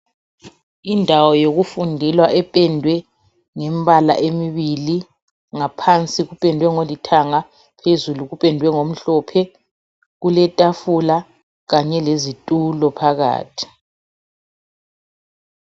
Indawo yokufundela ependwe ngemibala emibili ngaphansi kupendiwe ngolithanga phezulu kupendwe ngomhlophe. Kuletafula Kanye lezitulo phakathi.